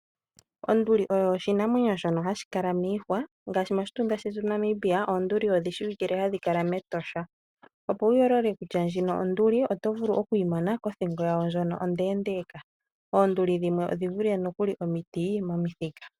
Onduli oyo oshinamwenyo shono hashi kala miihwa ngaashi moshitunda shetu Namibia oonduli odhi shiwike hadhi kala mEtosha . Opo wu yoolole kutya ndjino onduli oto vulu oku yimona kothingo yayo ndjono ondeendeeka. Oonduli dhimwe odhi vule nokuli omiti momithika.